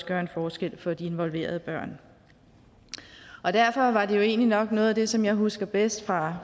gøre en forskel for de involverede børn derfor var det jo egentlig nok noget af det som jeg husker bedst fra